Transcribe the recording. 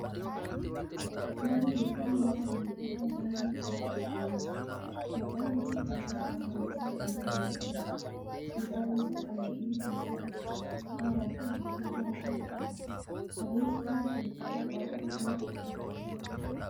Nyaanni kun, nyaata ariifataa daandii gubbaatti gurguramuu dha. Maqaan nyaata kanaa saambusaa kan jedhamu yoo ta'u midhaan akka : qamadii, misira, qaaraa fi ashaboo faa irraa qopha'a. Adeemsi nyaanni kun, ittiin qophaa'u maal fakkata?